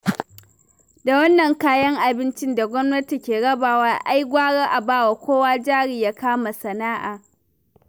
Da wannan kayan abincin da gwamnati ke rabawa, ai gwara a bawa kowa jari ya kama sana'a